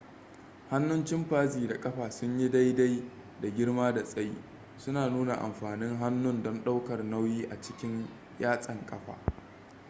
hannun chimpanzee da ƙafa sun yi daidai da girma da tsayi suna nuna amfanin hannun don ɗaukar nauyi a cikin yatsan ƙafa